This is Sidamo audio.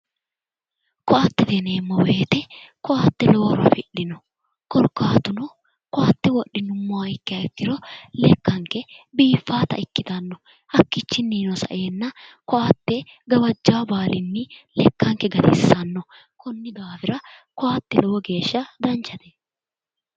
Koatte yineemmo woyte koatte lowo horo afi'dhino koatte wodhinumma ikkiha ikkiro lekkanke biiffaata ikkitanno hakkinono sa"enna gawajja baalinni lekkanke gatissanno konni daafira, koatte lowo geeshsha danchate.